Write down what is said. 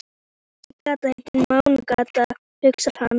Þessi gata heitir Mánagata, hugsar hann.